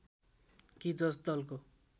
कि जस दलको